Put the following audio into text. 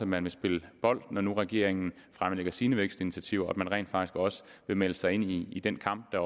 man vil spille bold når nu regeringen fremlægger sine vækstinitiativer og at man rent faktisk også vil melde sig ind i den kamp der